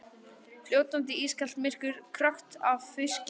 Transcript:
Fljótandi, ískalt myrkur, krökkt af fiski.